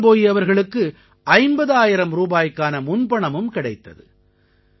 ஜிதேந்த்ர போயி அவர்களுக்கு 50000 ரூபாய்க்கான முன்பணமும் கிடைத்தது